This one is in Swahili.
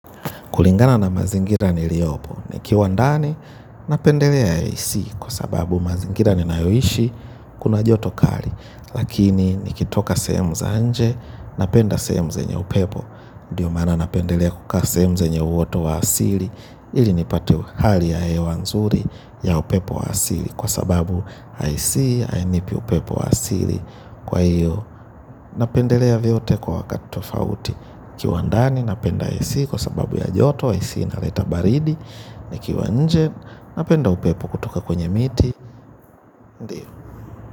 Kulingana na mazingira niliopo nikiwa ndani napendelea ac kwa sababu mazingira ninayo ishi kuna joto kali. Lakini nikitoka sehemu za nje napenda sehemu zenye upepo. Ndiyo maana napendelea kukaa sehemu zanye uoto wa asili ili nipate hali ya hewa nzuri ya upepo wa asili kwa sababu ac hainipi upepo wa asili kwa hiyo. Napendelea vyote kwa wakati tofauti. Kiwa ndani napenda AC kwa sababu ya joto, AC inaleta baridi. Nikiwa nje napenda upepo kutoka kwenye miti.